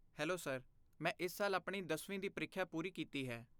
hello sir, ਮੈਂ ਇਸ ਸਾਲ ਆਪਣੀ ਦਸਵੀਂ ਦੀ ਪ੍ਰੀਖਿਆ ਪੂਰੀ ਕੀਤੀ ਹੈ